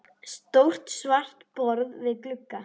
Stórt svart borð við glugga.